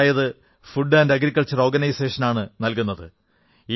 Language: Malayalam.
അതായത് ഫുഡ് ആന്റ് അഗ്രികൾച്ചറൽ ഓർഗനൈസേഷൻ ആണ് നൽകുന്നത്